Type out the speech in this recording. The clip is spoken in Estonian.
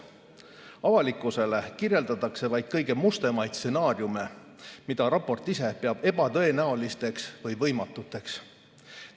Avalikkusele kirjeldatakse vaid kõige mustemaid stsenaariume, mida raport ise peab ebatõenäoliseks või võimatuks.